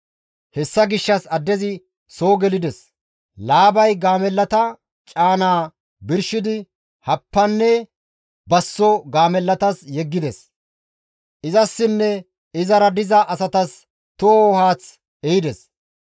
Hessa gishshas addezi soo gelides; Laabay gaamellata caanaa birshidi happanne basso gaamellatas yeggides. Izassinne izara diza asatas toho haath ehides.